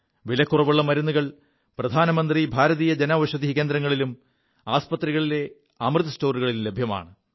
വിലക്കുറവുള്ള മരുുകൾ പ്രധാനമന്ത്രി ഭാരതീയ ജൻഔഷധി കേന്ദ്രങ്ങളിലും ആസ്പത്രികളിലെ അമൃത് സ്റ്റോറുകളിലും ലഭ്യമാണ്